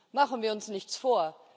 Machen wir uns nichts vor.